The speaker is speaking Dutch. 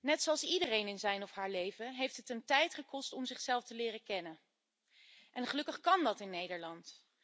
Net zoals iedereen in zijn of haar leven heeft het hem tijd gekost om zichzelf te leren kennen en gelukkig kan dat in Nederland.